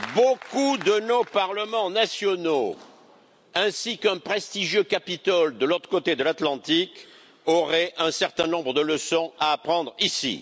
Beaucoup de nos parlements nationaux ainsi qu'un prestigieux Capitole de l'autre côté de l'Atlantique auraient un certain nombre de leçons à apprendre ici.